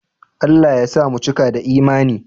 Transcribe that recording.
Allah ya sa mu cika da Imani